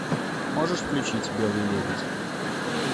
можешь включить белый лебедь